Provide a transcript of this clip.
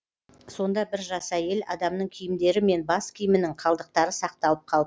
сонда бір жас әйел адамның киімдері мен бас киімінің қалдықтары сақталып қалыпты